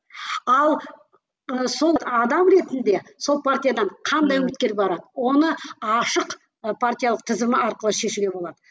ал ы сол адам ретінде сол партиядан қандай үміткер барады она ашық ы партиялық тізімі арқылы шешуге болады